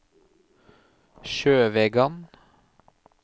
Sjøvegan